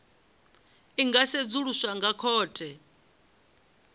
i nga sedzuluswa nga khothe